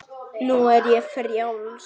Nú er ég frjáls!